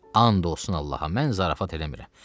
And olsun Allaha, mən zarafat eləmirəm.